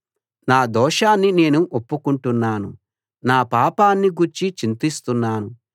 నా దోషాన్ని నేను ఒప్పుకుంటున్నాను నా పాపాన్ని గూర్చి చింతిస్తున్నాను